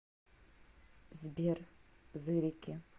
сбер зырики